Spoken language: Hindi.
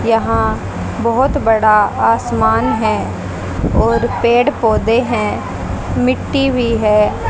यहां बहोत बड़ा आसमान है और पेड़ पौधे हैं मिट्टी भी है।